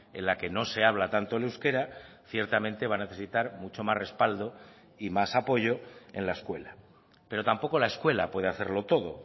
en la que no se habla tanto el euskera ciertamente va a necesitar mucho más respaldo y más apoyo en la escuela pero tampoco la escuela puede hacerlo todo